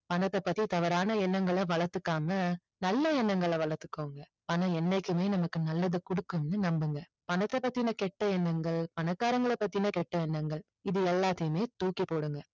பணத்தை பத்தி தவறான எண்ணங்களை வளர்த்துக்காம நல்ல எண்ணங்களை வளர்த்துக்கோங்க பணம் என்னைக்குமே நமக்கு நல்லதை கொடுக்கணும்னு நம்புங்க பணத்தை பத்தின கெட்ட எண்ணங்கள் பணக்காரங்கள பத்தின கெட்ட எண்ணங்கள் இது எல்லாத்தையுமே தூக்கி போடுங்க